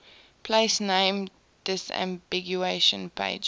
place name disambiguation pages